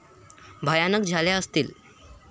भयानक झाल्या असतील.